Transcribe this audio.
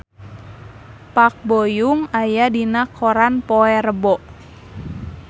Park Bo Yung aya dina koran poe Rebo